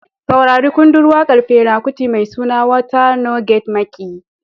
Saurari kundin wakar Fela Kuti mai suna "Water No Get Maƙiyi".